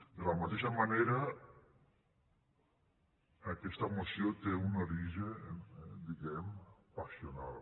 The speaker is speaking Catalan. de la mateixa manera aquesta moció té un origen diguem ne passional